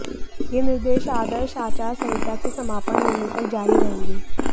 यह निर्देश आदर्श आचार संहिता के समापन होने तक ज़ारी रहेंगे